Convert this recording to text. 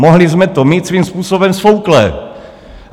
Mohli jsme to mít svým způsobem sfouknuté.